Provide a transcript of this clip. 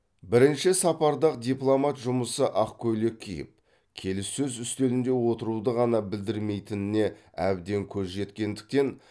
бірінші сапарда ақ дипломат жұмысы ақ көйлек киіп келіссөз үстелінде отыруды ғана білдірмейтініне әбден көз жеткендіктен